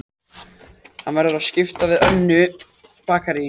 Hann verður að skipta við önnur bakarí.